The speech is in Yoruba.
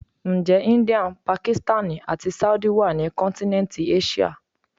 Ǹjẹ́ India, Pakistani àti Saudi wá ní kọ́ntínẹ́ntì Áṣíà?